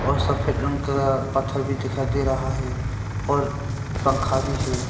और सफेद रंग का पत्थर भी दिखाई दे रहा है और पंखा भी है।